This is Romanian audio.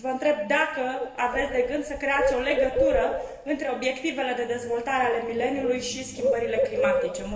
Deci vă întreb dacă aveți de gând să creați o legătură între obiectivele de dezvoltare ale mileniului și schimbările climatice.